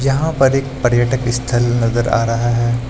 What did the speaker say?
यहां पर एक पर्यटक स्थल नजर आ रहा है।